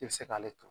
I bɛ se k'ale turu